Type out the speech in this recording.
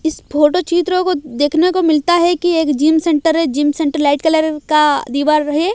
इस फोटो चित्र को देखने को मिलता है कि एक जिम सेंटर है जिम सेंटर लाइट कलर का दीवार है।